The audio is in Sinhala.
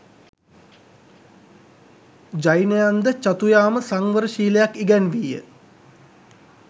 ජෛනයන්ද චතුයාම සංවර ශීලයක් ඉගැන්වීය.